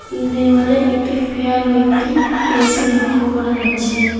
দেওয়ালে একটি ফ্যান ও একটি এ_সি লক্ষ করা যাচ্ছে।